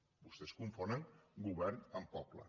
vostès confonen govern amb poble